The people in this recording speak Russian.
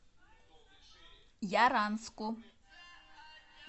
яранску